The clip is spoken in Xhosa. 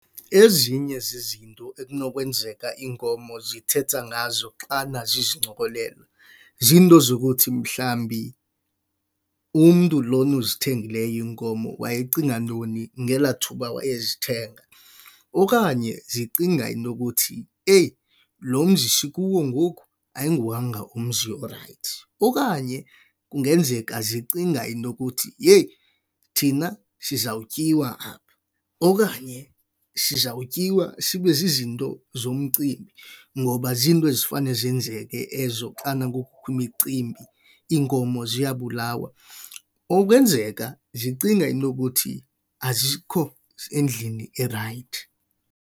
Ezinye zizinto ekunokwenzeka iinkomo zithetha ngazo xana zizincokolela, ziinto zokuthi mhlawumbi umntu lona uzithengileyo iinkomo wayecinga ntoni ngelaa thuba wayezithenga. Okanye zicinga into ukuthi eyi, lo mzi sikuwo ngoku ayinguwanga umzi orayithi. Okanye kungenzeka zicinga into ukuthi, yeyi, thina sizawutyiwa apha. Okanye sizawutyiwa sibe zizinto zomcimbi ngoba ziinto ezifana zenzeke ezo xana kukho imicimbi, iinkomo ziyabulawa. Okwenzeka zicinga into yokuthi azikho endlini erayithi.